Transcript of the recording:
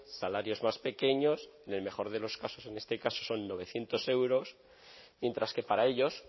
salarios más pequeños en el mejor de los casos en este caso son novecientos euros mientras que para ellos